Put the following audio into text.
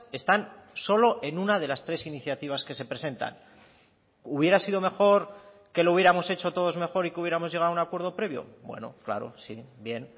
están solo en una de las tres iniciativas que se presentan hubiera sido mejor que lo hubiéramos hecho todos mejor y que hubiéramos llegado a un acuerdo previo bueno claro sí bien